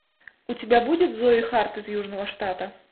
у тебя будет зои харт из южного штата